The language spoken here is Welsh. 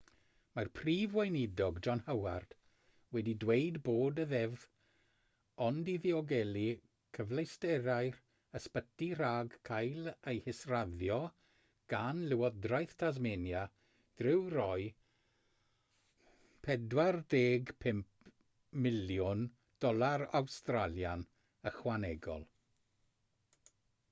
mae'r prif weinidog john howard wedi dweud bod y ddeddf ond i ddiogelu cyfleusterau'r ysbyty rhag cael ei hisraddio gan lywodraeth tasmania drwy roi aud$45 miliwn ychwanegol